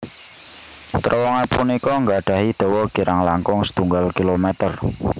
Trowongan punika nggadhahi dawa kirang langkung setunggal kilometer